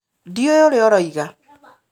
Ndiũĩ ũrĩa ũroiga.